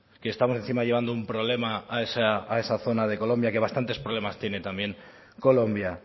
que estamos encima llevando un problema a esa zona de colombia que bastantes problemas tiene también colombia